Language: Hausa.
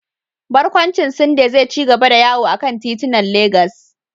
Barkwancin Syunday zai ci gaba da yawo a kan titunan Legas.